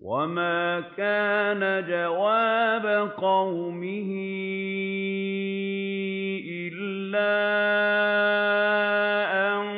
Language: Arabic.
وَمَا كَانَ جَوَابَ قَوْمِهِ إِلَّا أَن